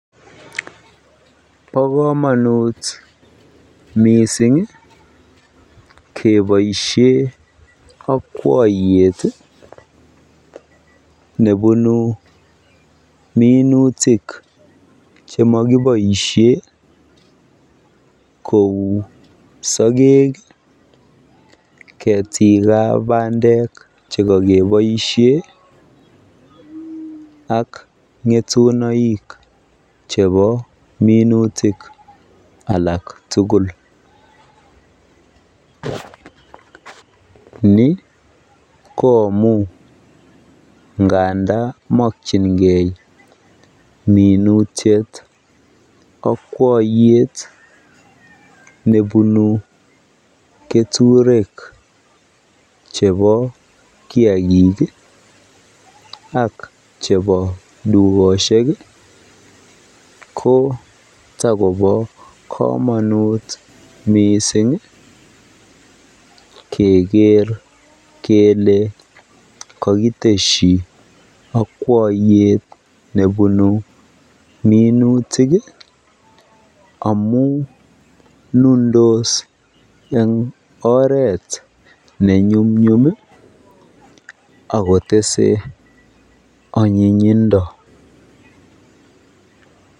Bokomonut mising keboishen akwoyet nebunu minutik chemokiboishen kouu sokek, ketikab bandek chekokeboishen ak ngetunoik chebo minutik alak tukul nii ko amun ngandan mokyinge minutiet akwoiyet nebunu keturek chebo kiakik ak chebo dukoshek ko tokobo komonut mising keker kelee kokiteshi akwoiyet nebunu minutik amun nundos en oret ne nyumnyum ak kotese anyinyindo.